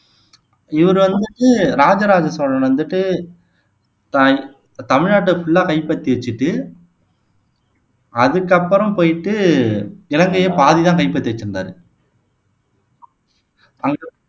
இவர் வந்துட்டு ராஜ ராஜ சோழன் வந்துட்டு த தமிழ்நாட்டை ஃபுல்லா கைப்பற்றி வச்சிட்டு அதுக்கப்பறம் போயிட்டு இலங்கையை பாதிதான் கைப்பற்றி வச்சிருந்தாரு